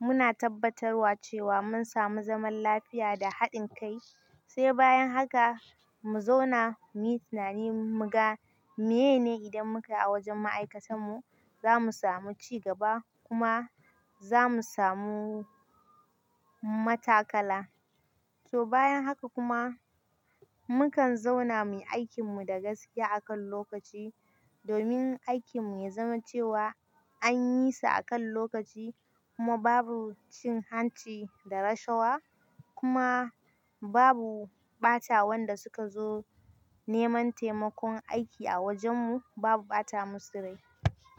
muna tabbatarwa cewa mun sami zaman lafiya da haɗin kai, sai bayan haka mu zauna muyi tunani muga menene idan muka a wajen ma'aikatan mu, zamu samu ci gaba kuma zamu samu matakala. To bayan haka kuma, mukan zauna muyi aikin mu da gaskiya akan lokaci domin aikin mu ya zama cewa an yi sa akan lokaci kuma babu cin hanci da rashawa kuma babu ɓata wanda suka zo neman taimakon aiki a wajen mu, babu ɓata musu rai.